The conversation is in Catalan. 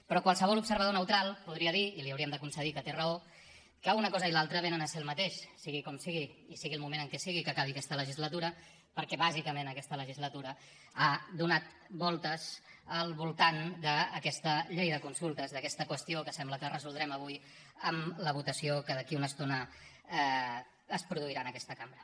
però qualsevol observador neutral podria dir i li hauríem de concedir que té raó que una cosa i l’altra vénen a ser el mateix sigui com sigui i sigui el moment en què sigui que acabi aquesta legislatura perquè bàsicament aquesta legislatura ha donat voltes al voltant d’aquesta llei de consultes d’aquesta qüestió que sembla que resoldrem avui amb la votació que d’aquí a una estona es produirà en aquesta cambra